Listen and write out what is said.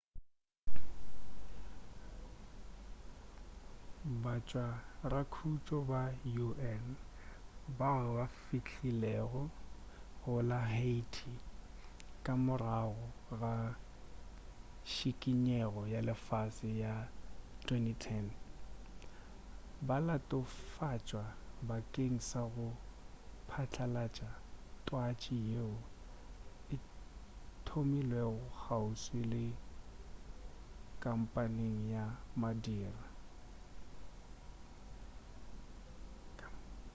batshwarakhutšo ba un bao ba fihlilego go la haiti ka morago ga tšikinyego ya lefase ya 2010 ba latofatšwa bakeng sa go patlalatša twatši yeo e thomilego kgauswi le kampeng ya madira